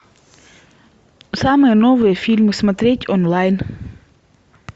самые новые фильмы смотреть онлайн